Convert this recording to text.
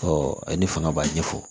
ne fanga b'a ɲɛ fɔ